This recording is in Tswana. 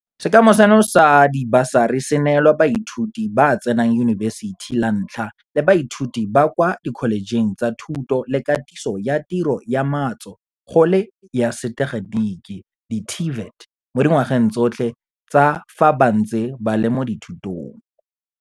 Sekema seno sa dibasari se neelwa baithuti ba ba tsenang yunibesithi la ntlha le baithuti ba ba kwa dikholetšheng tsa Thuto le Katiso ya Tiro ya Matso go le ya Setegeniki di-TVET, mo dingwageng tsotlhe tsa fa ba ntse ba le mo dithutong.